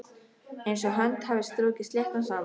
Einsog hönd hafi strokið sléttan sand.